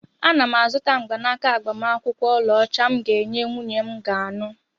Ana m azụta mgbanaka agbamakwụkwọ ọlaọcha m ga-enye nwunye m ga anụ.